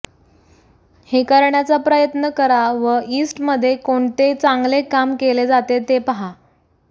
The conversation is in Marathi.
हे करण्याचा प्रयत्न करा व यीस्टमध्ये कोणते चांगले काम केले जाते ते पहा